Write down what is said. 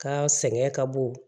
Ka sɛgɛn ka bon